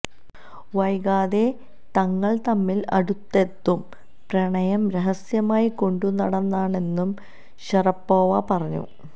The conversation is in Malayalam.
വൈകാതെ തങ്ങള് തമ്മില് അടുത്തെത്തും പ്രണയം രഹസ്യമായി കൊണ്ടുനടന്നെന്നും ഷറപ്പോവ പറഞ്ഞു